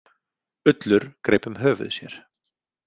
Ullur greip um höfuð sér.